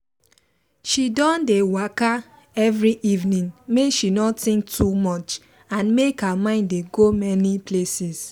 she don dey waka every evening make she no think too much and make her mind dey go many places